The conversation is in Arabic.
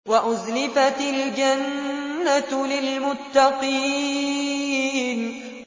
وَأُزْلِفَتِ الْجَنَّةُ لِلْمُتَّقِينَ